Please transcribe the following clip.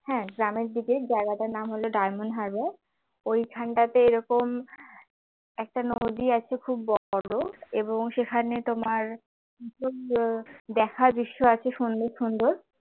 হ্যাঁ গ্রামের দিকে জায়গাটার নাম হল ডায়মন্ড হারবার ওইখানটাতে এরকম একটা নদী আছে খুব বড় এবং সেখানে তোমার দেখার দৃশ্য আছে সুন্দর সুন্দর